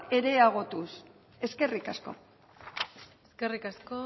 areagotuz eskerrik asko eskerrik asko